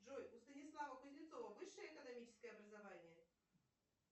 джой у станислава кузнецова высшее экономическое образование